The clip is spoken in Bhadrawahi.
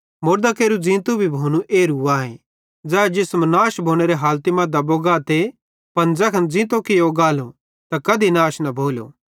मुड़दां केरू ज़ींतू भोनू भी एरू आए ज़ै जिसम नाश भोनेरे हालती मां दबो गाते पन ज़ैखन ज़ींतो कियो गालो त कधी नाश न भोलो